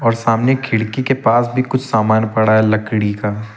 और सामने खिड़की के पास भी कुछ सामान पड़ा है लकड़ी का।